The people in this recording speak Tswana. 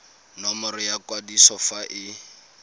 nomoro ya kwadiso fa e